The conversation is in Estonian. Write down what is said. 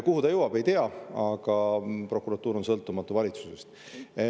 Kuhu see jõuab, ei tea, aga prokuratuur on sõltumatu valitsusest.